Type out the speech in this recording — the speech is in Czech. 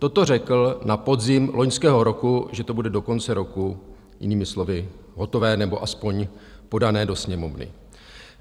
Toto řekl na podzim loňského roku, že to bude do konce roku - jinými slovy - hotové, nebo aspoň podané do Sněmovny.